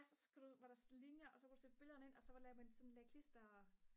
og så var der linjer og så kunne du sætte billederne ind og så lavede man ligesom det der klister